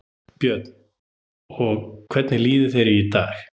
Björn: Og hvernig líður ykkur í dag?